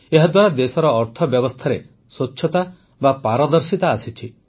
ଏହାଦ୍ୱାରା ଦେଶର ଅର୍ଥବ୍ୟବସ୍ଥାରେ ସ୍ୱଚ୍ଛତା ବା ପାରଦର୍ଶିତା ଆସିଛି